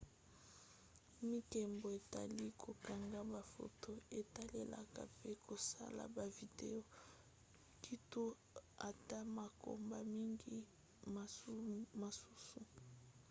mibeko etali kokanga bafoto etalelaka pe kosala bavideo kutu ata makambo mingi mosusu